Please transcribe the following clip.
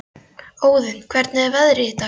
Óðinn, hvernig er veðrið í dag?